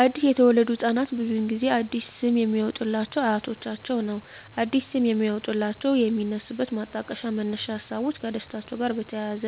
አዲስ ለተወለዱ ህፃናት ብዙውን ጊዜ አዲስ ስም የሚያወጡሏቸው አያቶቻቸውን ነው አዲስ ስም የሚያወጧላቸው የሚነሱበት ማጣቀሻ መነሻ ሀሳቦች ከደስታቸው ጋር በተያያዘ